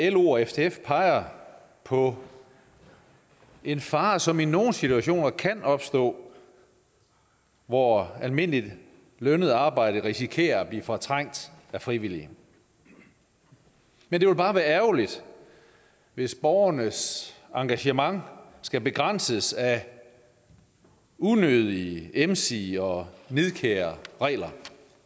at lo og ftf peger på en fare som i nogle situationer kan opstå hvor almindeligt lønnet arbejde risikerer at blive fortrængt af frivillige men det ville bare være ærgerligt hvis borgernes engagement skal begrænses af unødige emsige og nidkære regler